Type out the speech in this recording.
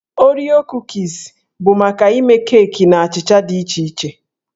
Oreo Kuukis bụ maka ịme keeki na achịcha dị iche iche.